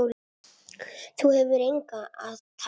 Þú hefur engu að tapa.